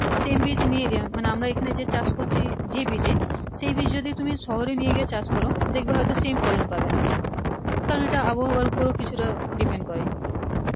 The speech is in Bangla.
same বীজ নিয়ে গিয়ে মানে আমরা এখানে যে চাষ করছি যে বীজ এ সেই বীজ যদি তুমি শহরে নিয়ে গিয়ে চাষ করো দেখবে হয়তো same ফলন পাবেনা কারণ এইটা আবহাওয়ার উপরও কিছুটা depend করে